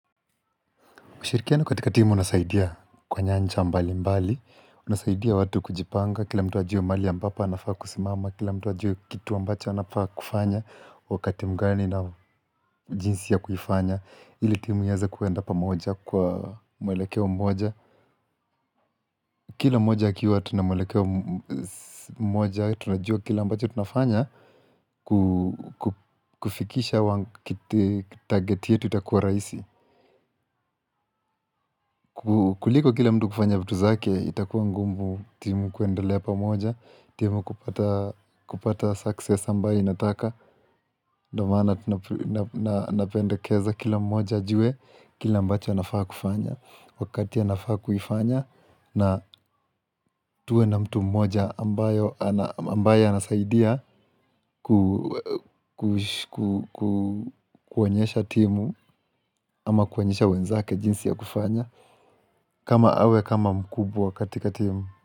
Ushirikiano katika timu unasaidia kwa nyanja mbali mbali, unasaidia watu kujipanga, kila mtu anajua mahali ambapo anafaa kusimama, kila mtu ajue kitu ambacho anafaa kufanya, wakati mgani na jinsi ya kuifanya, ili timu iweze kuenda pamoja kwa mwelekeo mmoja. Kila moja akiwa tunamelekeo mmoja, tunajua kila ambacho tunafanya kufikisha target yetu itakua raisi. Kuliko kila mtu kufanya vitu zake, itakua ngumu timu kuendelea pa moja, timu kupata kupata success ambayo inataka. Ndio maana napendekeza kila mmoja ajuwe kila ambacho anafaa kufanya, wakati anafaa kuifanya na tuwe na mtu mmoja ambayo ana ambaye anasaidia kuonyesha timu ama kuonyesha wenzake jinsi ya kufanya kama awe kama mkubwa katika timu.